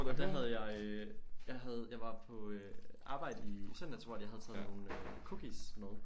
Og der havde jeg øh jeg havde jeg var på øh arbejde i søndags hvor at jeg havde taget nogle cookies med